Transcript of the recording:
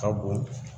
Ka bon